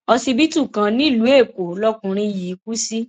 ọsibítù kan nílùú èkó lọkùnrin yìí kù sí